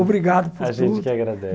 Obrigado por tudo. A gente que agradece.